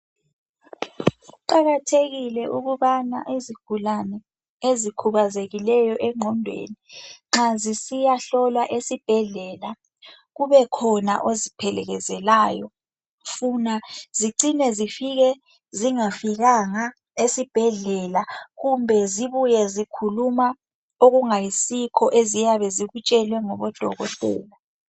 Kuqakathekile ukubana izigulane ezikhubazekileyo engqondweni nxa zisiya hlolwa esibhedlela kubekhona oziphelekezelayo funa zicine zifike zingafikanga esibhedlela kumbe zibuye zikhuluma okungayisikho eziyabe zikutshelwe ngodokotela.